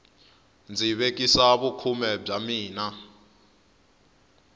ndzi vekisa vukhume bya mina